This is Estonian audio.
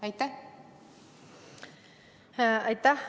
Aitäh!